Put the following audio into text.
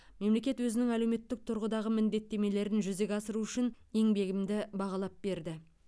мемлекет өзінің әлеуметтік тұрғыдағы міндеттемелерін жүзеге асыру үшін еңбегімді бағалап берді